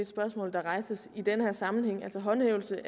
spørgsmål der rejses i den her sammenhæng altså håndhævelse